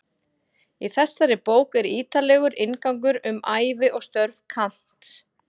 Í þessari bók er ítarlegur inngangur um ævi og störf Kants.